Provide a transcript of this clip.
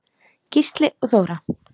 Gísli og Þóra.